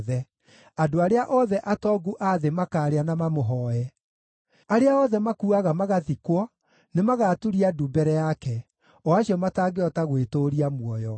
Andũ arĩa othe atongu a thĩ makaarĩa na mamũhooe; arĩa othe makuuaga magathikwo nĩmagaturia ndu mbere yake, o acio matangĩhota gwĩtũũria muoyo.